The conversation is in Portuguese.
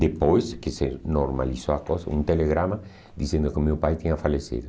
Depois que se normalizou a coisa, um telegrama dizendo que o meu pai tinha falecido.